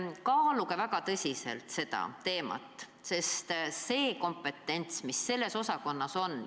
Kaaluge väga tõsiselt seda muudatust, sest kompetents, mis selles osakonnas on, on suur.